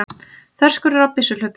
Þverskurður á byssuhlaupum.